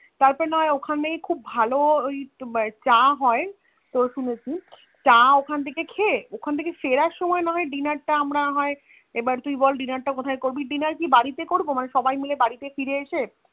তারপর নয় ওখানেই খুব ভালো ওই চা হয়ে হয় শুনেছি চা ওখান থেকে খেয়ে ওখান থেকে ফেরার সময় নয় ডিনার তা না হয়ে এবা তুই বল Dinner টা আমরা না হয়ে এবার তুই বল Dinner কোথায় করবি Dinner কি বাড়িতে করবি সবাই মাইল বাড়িতে ফিরে এসে